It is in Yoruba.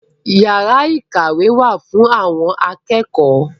Yàrá ìkàwé wá fún àwọn akẹ́kọ̀ọ́